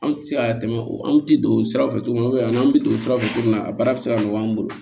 Anw tɛ se ka tɛmɛ o an ti don sira fɛ tuguni an bi don sira fɛ cogo min na a baara bi se ka nɔgɔ an bolo